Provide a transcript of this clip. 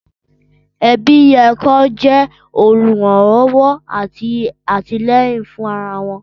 Ẹbí yẹ kin wọn jẹ òlúranlọwọ ati atilẹyin fun ara wọn.